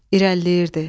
İrəliləyirdi.